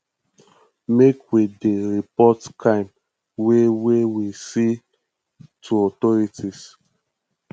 make we dey report crime wey wey we see to authorities